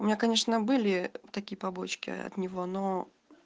у меня конечно были такие побочки от него но